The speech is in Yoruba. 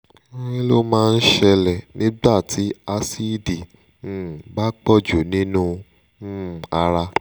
kí ló máa ń ṣẹlẹ̀ nígbà tí asíìdì um bá pọ̀jù nínú um ara?